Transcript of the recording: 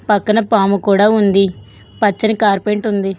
పక్కన పాము కూడా ఉంది పచ్చని కార్పెంట్ ఉంది.